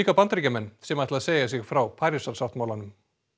Bandaríkjamenn sem ætla að segja sig frá Parísarsáttmálanum